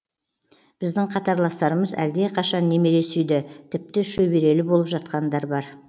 біздің қатарластарымыз әлдеқашан немере сүйді тіпті шөберелі болып жатқандар бар